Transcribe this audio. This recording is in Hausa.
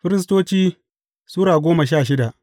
Firistoci Sura goma sha shida